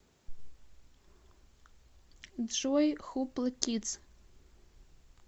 джой хупла кидс